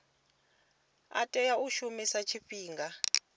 a tea u shumiswa tshifhinga